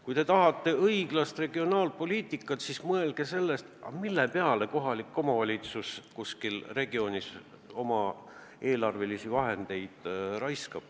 Kui te tahate õiglast regionaalpoliitikat, siis mõelge selle peale, mille peale kohalik omavalitsus ühes või teises regioonis oma eelarveraha raiskab!